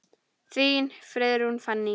Þín, Friðrún Fanný.